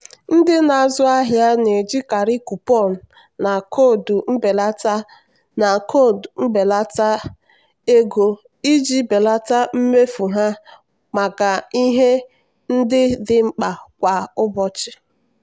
ndị na-azụ ahịa na-ejikarị kupọn na koodu mbelata na koodu mbelata ego iji belata mmefu ha maka ihe ndị dị mkpa kwa ụbọchị.